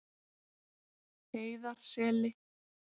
Heiðarseli